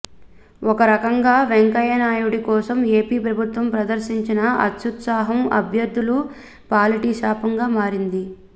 ఒక రకంగా వెంకయ్యనాయుడి కోసం ఏపీ ప్రభుత్వం ప్రదర్శించిన అత్యుత్సాహం అభ్యర్థుల పాలిట శాపంగా మారింది